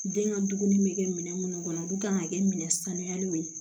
Den ka dumuni bɛ kɛ minɛn minnu kɔnɔ olu kan ka kɛ minɛn sanuyaliw ye